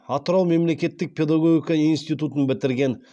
атырау мемлекеттік педагогика институтын бітірген